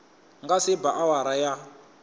nga se ba awara ya